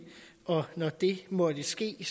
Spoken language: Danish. og når det måtte ske